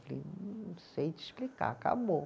Falei, não sei te explicar, acabou.